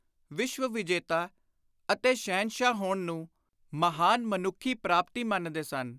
ਵਿਸ਼ਵ-ਵਿਜੇਤਾ ਅਤੇ ਸ਼ਹਿਨਸ਼ਾਹ ਹੋਣ ਨੂੰ ਮਹਾਨ ਮਨੁੱਖੀ ਪਾਪਤੀ ਮੰਨਦੇ ਸਨ।